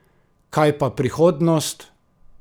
Kaj pa prihodnost?